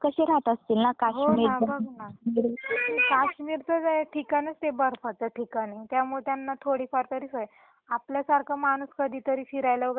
काश्मीर तर ठिकाणच बर्फाच ठिकाण आहे त्यामुळे त्यांना थोडीफार तरी सवय आपल्या सारख माणूस कधी तरी फिरायला वैगरे गेल तर ते सहन नाही होत.